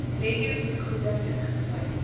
netto vergoeding ingesluit